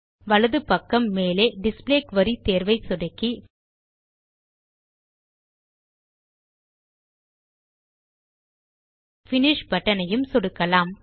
வலது பக்கம் மேலே டிஸ்ப்ளே குரி தேர்வை சொடுக்கி பினிஷ் பட்டன் ஐயும் சொடுக்கலாம்